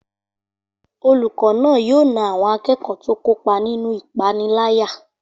Olùkọ́ náà yóò na àwọn akẹ́kọ̀ọ́ tó kópa nínú ìpániláyà